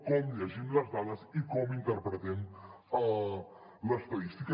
com llegim les dades i com interpretem l’estadística